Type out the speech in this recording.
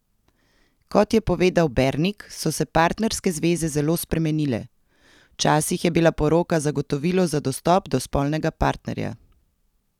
Kot je povedal Bernik, so se partnerske zveze zelo spremenile: "Včasih je bila poroka zagotovilo za dostop do spolnega partnerja.